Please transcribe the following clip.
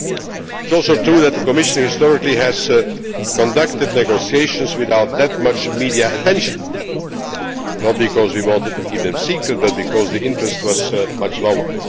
It is also true that the Commission historically has conducted negotiations without that much media attention, not because we wanted to keep them secret but because the interest was much lower.